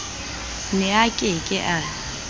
ne a ke ke a